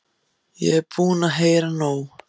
Ég er búin að heyra nóg!